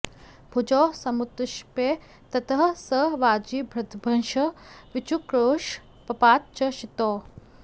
भुजौ समुत्क्षिप्य ततः स वाजिभृद्भृशं विचुक्रोश पपात च क्षितौ